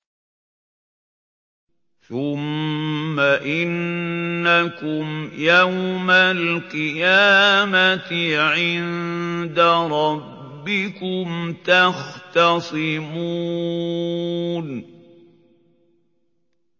ثُمَّ إِنَّكُمْ يَوْمَ الْقِيَامَةِ عِندَ رَبِّكُمْ تَخْتَصِمُونَ